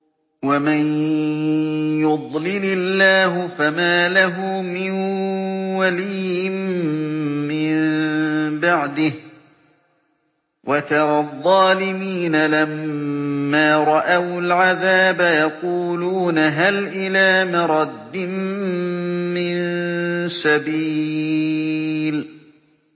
وَمَن يُضْلِلِ اللَّهُ فَمَا لَهُ مِن وَلِيٍّ مِّن بَعْدِهِ ۗ وَتَرَى الظَّالِمِينَ لَمَّا رَأَوُا الْعَذَابَ يَقُولُونَ هَلْ إِلَىٰ مَرَدٍّ مِّن سَبِيلٍ